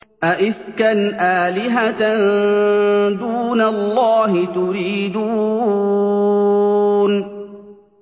أَئِفْكًا آلِهَةً دُونَ اللَّهِ تُرِيدُونَ